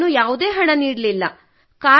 ಹಾಗೂ ನಾನು ಯಾವುದೇ ಹಣ ನೀಡಲಿಲ್ಲ